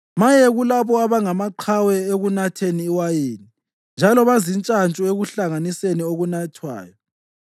Maye kulabo abangamaqhawe ekunatheni iwayini njalo bezintshantshu ekuhlanganiseni okunathwayo,